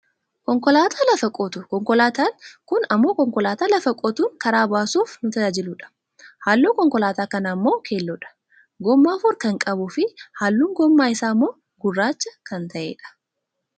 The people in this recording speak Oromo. konkolaataa lafa qotu, konkolaataan kun ammoo konkolaataa lafa qotuun karaa baasuuf nu tajaajiludha. halluun konkolaataa kanaa ammoo keelloodha. gommaa afur kan qabuufi halluun gommaa isaa ammoo gurraacha kan ta'e dha.